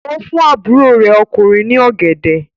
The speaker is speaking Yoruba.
Ó fún àbúrò rẹ̀ ọkùnrin ní ọ̀gẹ̀dẹ̀.